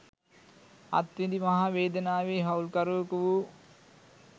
අත් විඳි මහා වේදනාවේ හවුල්කරුවකු වූ